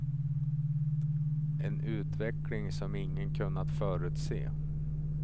En utveckling som ingen kunnat förutse.